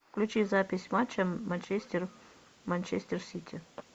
включи запись матча манчестер манчестер сити